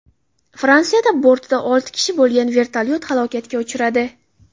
Fransiyada bortida olti kishi bo‘lgan vertolyot halokatga uchradi.